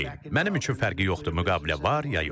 Mənim üçün fərqi yoxdur, müqavilə var ya yox.